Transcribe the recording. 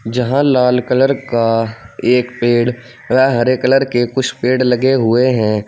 जहां लाल कलर का एक पेड़ व हरे कलर के कुछ पेड़ लगे हुए हैं।